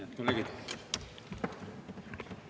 Head kolleegid!